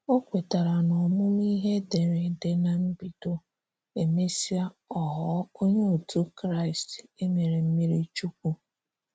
Ọ kwetara n'ọmụmụ ihe ederede na mbido, emesịa, ọ ghọọ Onye otu Kraịst e mere mmiri Chukwu..